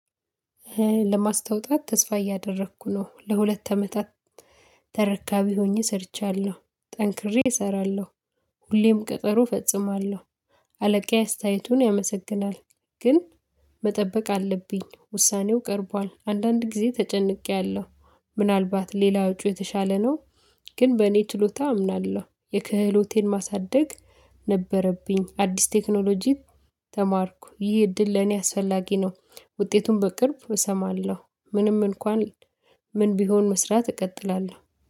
ለማስታወጣት ተስፋ እያደረኩ ነው ለሁለት አመታት ተረካቢ ሆኜ ሰርቻለሁ ጠንክሬ እሰራለሁ ሁሌም ቀጠሮ እፈጽማለሁ። አለቃዬ አስተያየቱን ያመሰግናል። ግን መጠበቅ አለብኝ ውሳኔው ቀርቧል አንዳንድ ጊዜ ተጨንቄያለሁ። ምናልባት ሌላ አውጪው የተሻለ ነው። ግን በእኔ ችሎታ አምናለሁ የክህሎቴን ማሳደግ ነበረብኝ አዲስ ቴክኖሎጂ። ተማርኩ ይህ እድል ለኔ አስፈላጊ ነው። ውጤቱን በቅርብ እሰማለሁ። ምንም እንኳን ምን ቢሆን መስራት እቀጥላለሁ።